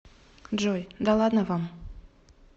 джой да ладно вам